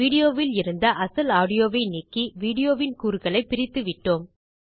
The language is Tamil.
வீடியோவில் இருந்த அசல் ஆடியோவை நீக்கி வீடியோவின் கூறுகளைப் பிரித்துவிட்டோம்